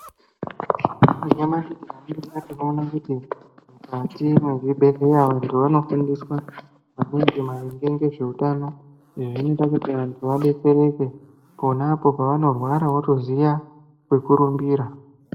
Nyamashi tinoona kuti mukati mwezvibhedhleya antu anofundiswa maningi maringe ngezveutano izvi zvinoita kuti vantu vadetsereke ponapo vanorwara votoziya kwekurumbira.